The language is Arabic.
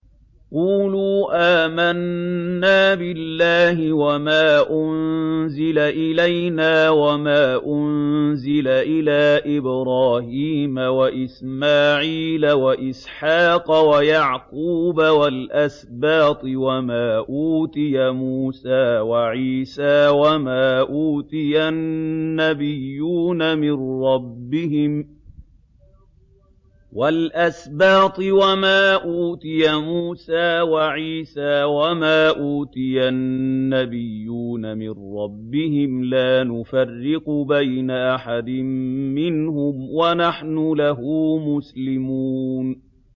قُولُوا آمَنَّا بِاللَّهِ وَمَا أُنزِلَ إِلَيْنَا وَمَا أُنزِلَ إِلَىٰ إِبْرَاهِيمَ وَإِسْمَاعِيلَ وَإِسْحَاقَ وَيَعْقُوبَ وَالْأَسْبَاطِ وَمَا أُوتِيَ مُوسَىٰ وَعِيسَىٰ وَمَا أُوتِيَ النَّبِيُّونَ مِن رَّبِّهِمْ لَا نُفَرِّقُ بَيْنَ أَحَدٍ مِّنْهُمْ وَنَحْنُ لَهُ مُسْلِمُونَ